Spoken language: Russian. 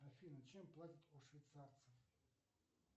афина чем платят у швейцарцев